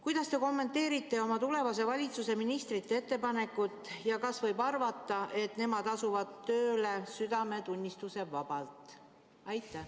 " Kuidas te kommenteerite oma tulevase valitsuse ministrite ettepanekut ja kas võib arvata, et nemad asuvad tööle südametunnistusevabalt?